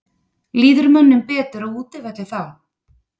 Líður mönnum betur á útivelli þá?